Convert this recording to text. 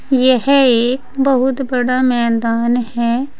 यह एक बहुत बड़ा मैदान है।